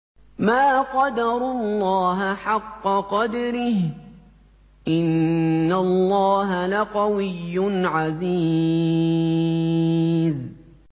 مَا قَدَرُوا اللَّهَ حَقَّ قَدْرِهِ ۗ إِنَّ اللَّهَ لَقَوِيٌّ عَزِيزٌ